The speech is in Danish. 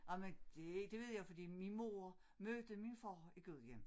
Ej men det det ved jeg fordi min mor mødte min far i Gudhjem